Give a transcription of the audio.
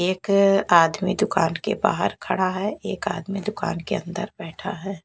एक आदमी दुकान के बाहर खड़ा है एक आदमी दुकान के अंदर बैठा है।